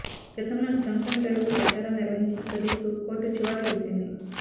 గతంలో drunk and drive పై ప్రచారం నిర్వహించిన ప్రదీప్ కు కోర్టు చివాట్లు పెట్టింది